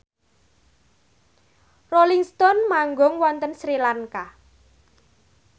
Rolling Stone manggung wonten Sri Lanka